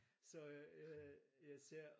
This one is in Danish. Så øh jeg ser